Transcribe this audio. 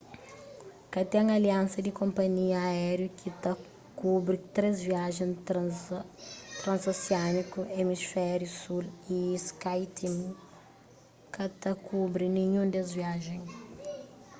ka ten aliansa di konpanhia aériu ki ta kubri três viajen transosiániku emisfériu sul y skyteam ka ta kubri ninhun des viajen